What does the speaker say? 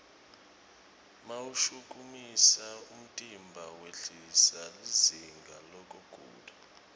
mawushukumisa umtimba wehlisa lizinga lekugula